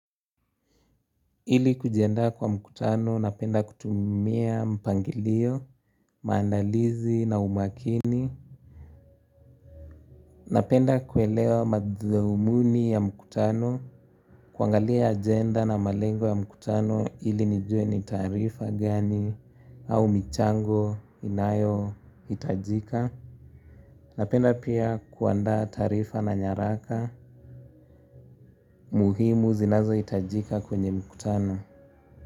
Ili kujiandaa kwa mkutano, napenda kutumia mpangilio, maandalizi na umakini. Napenda kuelewa mathumuni ya mkutano, kuangalia ajenda na malengo ya mkutano ili nijue ni taarifa gani au michango inayohitajika. Napenda pia kuandaa taarifa na nyaraka muhimu zinazohitajika kwenye mkutano.